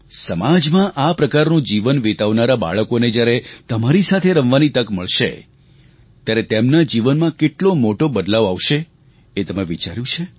સમાજમાં આ પ્રકારનું જીવન વિતાવનારાં બાળકોને જ્યારે તમારી સાથે રમવાની તક મળશે ત્યારે તેમના જીવનમાં કેટલો મોટો બદલાવ આવશે એ તમે વિચાર્યું છે